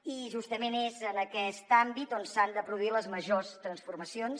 i justament és en aquest àmbit on s’han de produir les majors transformacions